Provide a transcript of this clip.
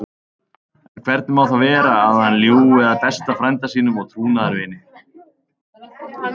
En hvernig má það vera að hann ljúgi að besta frænda sínum og trúnaðarvini?